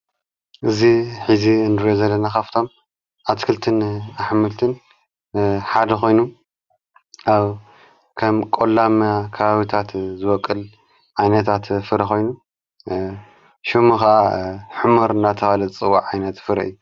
እዙ ኂዚ እንድ ዘለናኻፍቶም ኣትክልትን ኣኅምልትን ሓድኾይኑ ኣ ከም ቖላምያ ካባዊታት ዘወቕል ኣይነታት ፍረኾይኑ ሹሙኸ ሕሙር እናተባኡላ ዝጽዋዕ ዓይነት ፍረ እዩ።